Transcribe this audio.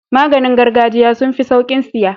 Maganin gargajiya sunfi saukin siya